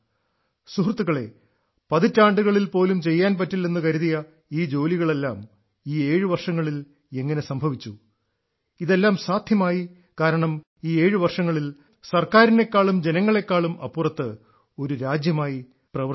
സുഹൃത്തുക്കളേ പതിറ്റാണ്ടുകളിൽ പോലും ചെയ്യാൻ പറ്റില്ലെന്ന് കരുതിയ ഈ ജോലികളെല്ലാം ഈ ഏഴു വർഷങ്ങളിൽ എങ്ങനെ സംഭവിച്ചു ഇതെല്ലാം സാധ്യമായി കാരണം ഈ ഏഴു വർഷങ്ങളിൽ ഞങ്ങൾ സർക്കാരിനേക്കാളും ജനങ്ങളേക്കാളും അപ്പുറത്ത് ഒരു രാജ്യമായി പ്രവർത്തിച്ചു